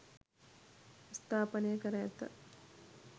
ස්ථාපනය කර ඇත.